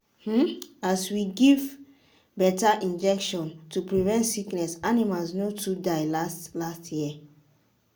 as we give better injection to prevent sickness animals no too die last last year.